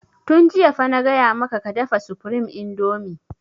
Tun jiya fa na gaya maka ka dafa supreme indomie!